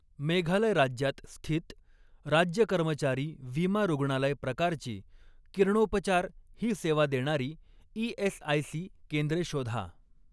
मेघालय राज्यात स्थित, राज्य कर्मचारी विमा रुग्णालय प्रकारची, किरणोपचार ही सेवा देणारी ई.एस.आय.सी केंद्रे शोधा.